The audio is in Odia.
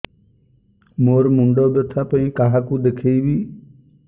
ମୋର ମୁଣ୍ଡ ବ୍ୟଥା ପାଇଁ କାହାକୁ ଦେଖେଇବି